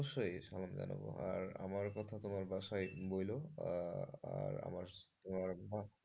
অবশ্যই সালাম জানাবো আর আমার কথা তোমার বাসায় বলো। আর আমার,